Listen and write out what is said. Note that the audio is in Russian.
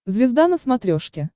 звезда на смотрешке